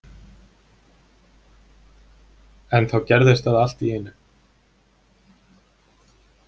En þá gerðist það allt í einu.